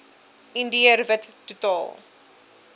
indiër wit totaal